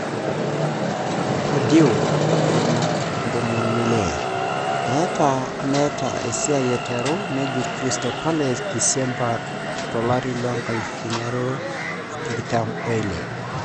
Pardew,56,etaa meta esiai aiteru nejut Crystal Palace Disemba 2016.